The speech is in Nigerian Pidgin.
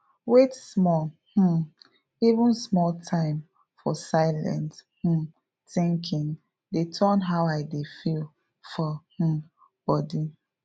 wait small um even small time for silent um thinking dey turn how i dey feel for um body